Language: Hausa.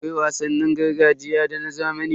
Akwai wasannin gargajiya da na zamani.